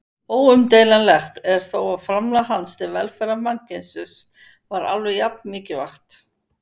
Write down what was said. Óumdeilanlegt er þó að framlag hans til velferðar mannkynsins var alveg jafn mikilvægt.